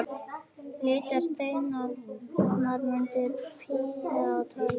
Litaðir steinar munu prýða torgið.